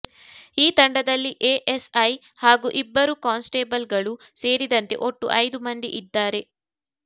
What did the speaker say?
ಈ ತಂಡದಲ್ಲಿ ಎಎಸ್ಐ ಹಾಗೂ ಇಬ್ಬರು ಕಾನ್ಸ್ಟೇಬಲ್ಗಳು ಸೇರಿದಂತೆ ಒಟ್ಟು ಐದು ಮಂದಿ ಇದ್ದಾರೆ